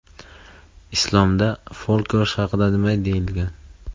Islomda fol ko‘rish haqida nima deyilgan?.